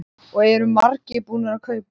Og eru margir búnir að kaupa?